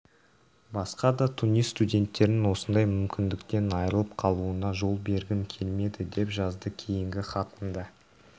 басқа да тунис студенттерінің осындай мүмкіндіктен айырылып қалуына жол бергім келмеді деп жазды кейінгі хатында